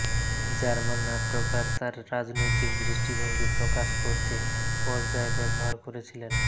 German নাট্যকার তাঁর রাজনৈতিক দৃষ্টিভঙ্গি প্রকাশ করতে পর্যায় ব্যবহার করেছিলেন